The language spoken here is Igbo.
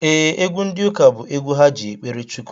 Ee, egwu ndi ụka bụ egwu ha ji ekpere Chukwu